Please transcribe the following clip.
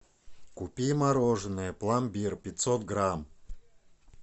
купи мороженое пломбир пятьсот грамм